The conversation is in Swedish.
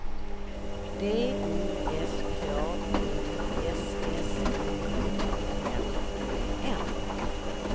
D I S K U S S I O N E N